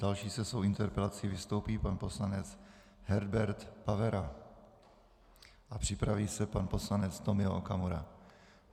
Další se svou interpelací vystoupí pan poslanec Herbert Pavera a připraví se pan poslanec Tomio Okamura.